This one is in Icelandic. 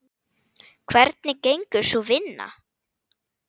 Hvernig gengur sú vinna?